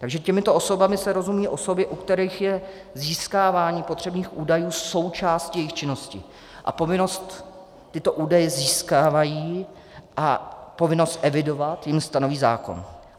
Takže těmito osobami se rozumí osoby, u kterých je získávání potřebných údajů součástí jejich činnosti a povinnost tyto údaje získávat a povinnost evidovat jim stanoví zákon.